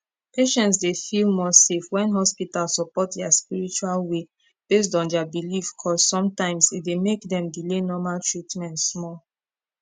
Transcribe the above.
patients dey feel more safe when hospital support their spiritual way based on their beliefcause sometimes e dey make dem delay normal treatment small